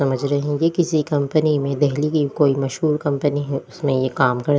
समझ रहे हैं ये किसी कंपनी में दिल्ली की कोई मशहूर कंपनी है उसमें यह काम कर --